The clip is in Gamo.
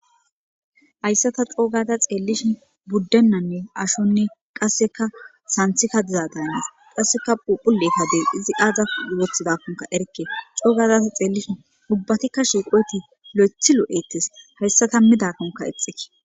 Hayssata coogada xeellishi buddennanne ashonne qasseka santhika dizadaynnes qasseka puphulekadey izi aaza wothidakkonka erke coogazata xeellishin ubbatikka shiiqoti lo7ethi lo7etes hayssa tammidakonka exeke